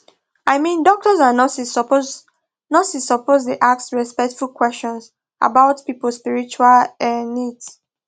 i mean doctors and nurses suppose nurses suppose dey ask respectful questions about people spiritual um needs